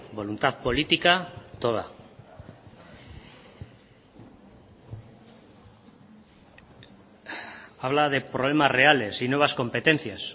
voluntad política toda habla de problemas reales y nuevas competencias